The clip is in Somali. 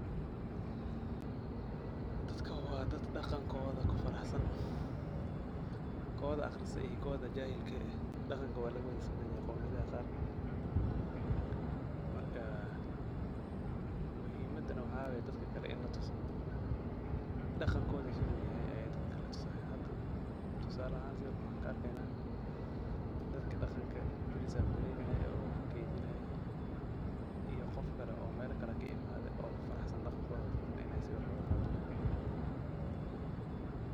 Dadkan waa dad dhaqankooda ku faraxsan. Kooda akhriistay iyo kooda jahilka eh dhaqanka waa laga wada simanyahay qowmiyadaha qaar. Marka, muhiimadana waxaa waay dadka kale in la tuso daqankoodi siduu yahay ayaa dadka la tusaaya. Hada, tusaala ahaan sawirka waxaan ka arkeynaa dadka dhaqanka prisafgreynaayey oo keydinaayay iyo qofkale oo meelo kale kaimaadey oo ku faraxsan dhaqankooda dadkan inaay sawir wada qaadanayaan.